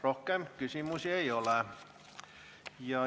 Rohkem küsimusi ei ole.